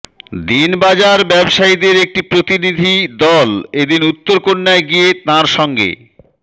দিনবাজার ব্যবসায়ীদের একটি প্রতিনিধি দল এ দিন উত্তরকন্যায় গিয়ে তাঁর সঙ্গে